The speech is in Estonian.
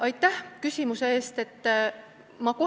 Aitäh küsimuse eest!